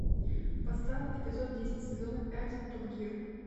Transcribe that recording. поставь эпизод десять сезона пять топ гир